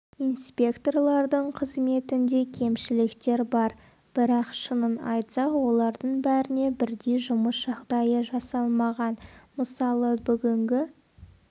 инспекторлардың қызметінде кемшіліктер бар бірақ шынын айтсақ олардың бәріне бірдей жұмыс жағдайы жасалмаған мысалы бүгінгі